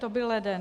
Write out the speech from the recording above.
- To byl leden.